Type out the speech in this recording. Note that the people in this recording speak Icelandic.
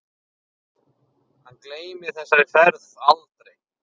Hann gleymir þessari ferð aldrei.